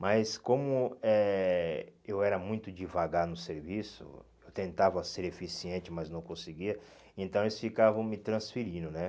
Mas como eh eu era muito devagar no serviço, eu tentava ser eficiente, mas não conseguia, então eles ficavam me transferindo, né?